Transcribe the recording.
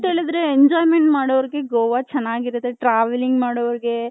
enjoyment ಮಾಡೋರ್ಗೆ ಗೋವ ತುಂಬಾ ಚೆನ್ನಾಗಿರುತ್ತೆ travelling ಮಾಡೋರ್ಗೆ .